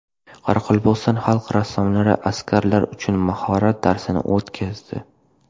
Qoraqalpog‘iston xalq rassomlari askarlar uchun mahorat darsini o‘tkazdi .